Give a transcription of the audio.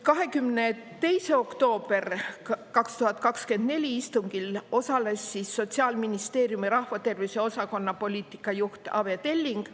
22. oktoobri 2024 istungil osales Sotsiaalministeeriumi rahvatervishoiu osakonna poliitika juht Aive Telling.